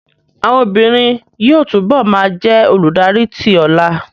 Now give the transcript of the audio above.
Àwọn obìnrin yóò túbọ̀ ma jẹ́ olùdarí tí ọlà